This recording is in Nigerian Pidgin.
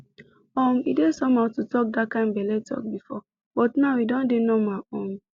um e dey somehow to talk that kind belle talk before but now e don dey normal um